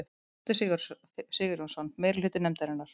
Frosti Sigurjónsson: Meirihluta nefndarinnar?